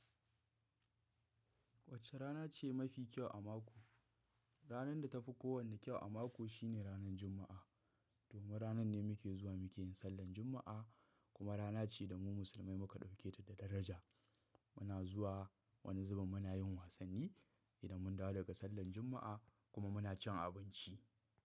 Wacce rana ce mafi kyau a mako? Ranar da ta fi kowanne kyau a mako shine ranar Juma'a. Domin ranan ne muke zuwa muke yin sallan Juma'a kuma rana ce da mu musulmai muka ɗauke ta da daraja. Muna zuwa wani zubin muna yin wasanni idan mun dawo daga sallan Juma'a kuma muna cin abinci.